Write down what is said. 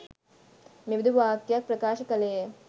මෙබදු වාක්‍යයක් ප්‍රකාශ කළේය.